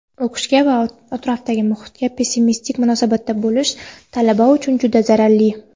o‘qishga va atrofdagi muhitga pessimistik munosabatda bo‘lish talaba uchun juda zararli.